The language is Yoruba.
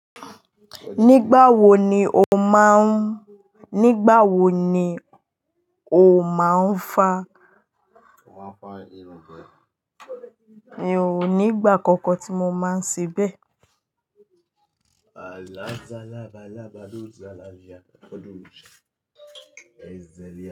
Nígbà wo ni o máa ń fa? Mi ò ní ìgbà kankan tí mo máa ń ṣe bẹ́ẹ̀.